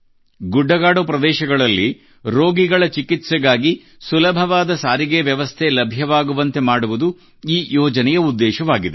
ಗುಡ್ಡಗಾಡು ಪ್ರದೇಶಗಳಲ್ಲಿ ರೋಗಿಗಳ ಚಿಕಿತ್ಸೆಗಾಗಿ ಸುಲಭವಾದ ಸಾರಿಗೆ ವ್ಯವಸ್ಥೆ ಲಭ್ಯವಾಗುವಂತೆ ಮಾಡುವುದು ಈ ಯೋಜನೆಯ ಉದ್ದೇಶವಾಗಿದೆ